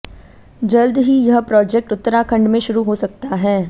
जल्द ही यह प्रोजेक्ट उत्तराखंड में शुरू हो सकता है